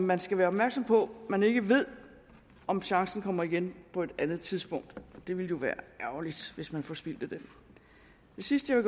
man skal være opmærksom på at man ikke ved om chancen kommer igen på et andet tidspunkt og det ville jo være ærgerligt hvis man forspildte den det sidste jeg